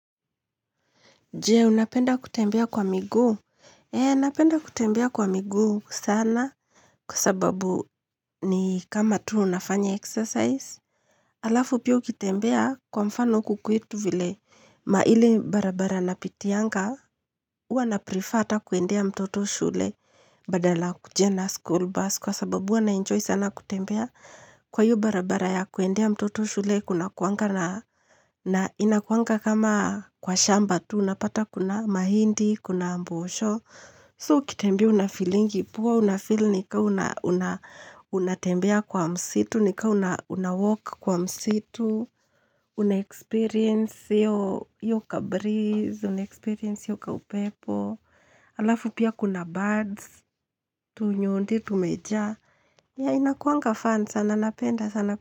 Jee, unapenda kutembea kwa miguu? Eee, unapenda kutembea kwa migu sana kwa sababu ni kama tu unafanya exercise. Alafu pia ukitembea kwa mfano huku kwetu vile maili barabara napitianga, hua naprefer ata kuendea mtoto shule badala akuje na school bus kwa sababu huwa naenjoy sana kutembea. Kwa hiyo barabara ya kuendea mtoto shule kuna kuanga na inakuanga kama kwa shamba tu, unapata kuna mahindi, kuna mbosho. So ukitembea una feelingi poa, una feel nika unatembea kwa msitu, nika unawalk kwa msitu, unaexperience hiyo ka breeze, unaexperience hiyo ka upepo, alafu pia kuna birds, tunyundi, tumejaa. Ya inakuanga fan sana napenda sana.